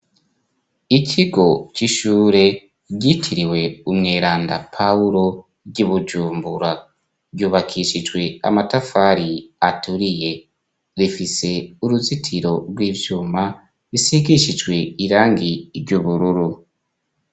Ikigo c'ishure ryitiriwe Umweranda Pawulo ry'i Bujumbura, yubakishijwe amatafari aturiye, rifise uruzitiro rw'ivyuma, bisigishijwe irangi ry'ubururu.